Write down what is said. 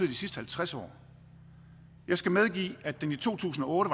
de sidste halvtreds år jeg skal medgive at den i to tusind og otte